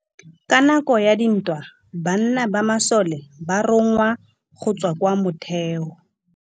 Ka nakô ya dintwa banna ba masole ba rongwa go tswa kwa mothêô.